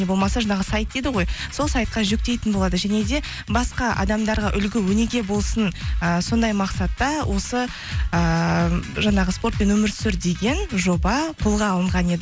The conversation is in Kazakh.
не болмаса жаңағы сайт дейді ғой сол сайтқа жүктейтін болады және де басқа адамдарға үлгі өнеге болсын ы сондай мақсатта осы ыыы жаңағы спортпен өмір сүр деген жоба қолға алынған еді